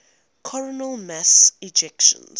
coronal mass ejections